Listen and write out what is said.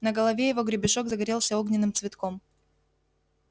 на голове его гребешок загорелся огненным цветком